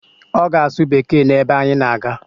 Ọ ga-asụ Bekee n'ebe anyị na-aga